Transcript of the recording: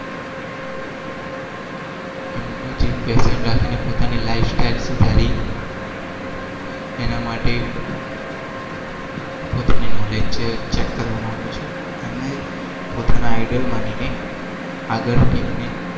passion રાખીને